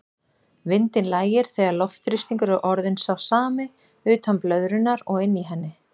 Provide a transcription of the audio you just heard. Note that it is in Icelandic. Vindinn lægir þegar loftþrýstingur er orðinn sá sami utan blöðrunnar og inni í henni.